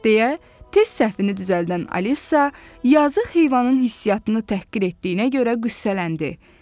deyə tez səhvini düzəldən Alisa, yazıq heyvanın hissiyatını təhqir etdiyinə görə qüssələndi.